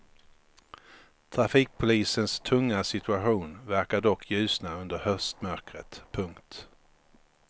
Trafikpolisens tunga situation verkar dock ljusna under höstmörkret. punkt